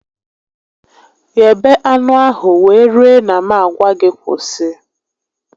Ghebe anụ ahụ wee rue na m a gwa gị kwụsị